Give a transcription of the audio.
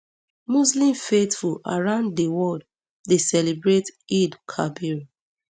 muslim faithful around di world dey celebrate eidelkabir